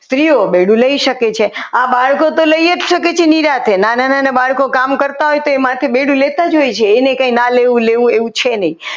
સ્ત્રીઓ બેડું લઈ શકે છે. આ બાળકો તો લઈ જ શકે નિરાંતે નાના નાના બાળકો કામ કરતા હોય તે માથે બેડું લેતા હોય છે એને કંઈ લેવું ના લેવું એવું છે નહીં.